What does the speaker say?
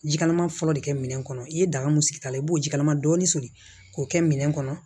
Ji kalaman fɔlɔ de kɛ minɛn kɔnɔ i ye daga mun sigi a la i b'o jikalaman dɔɔni soli k'o kɛ minɛn kɔnɔ